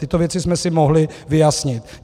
Tyto věci jsme si mohli vyjasnit.